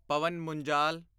Pawan Munjal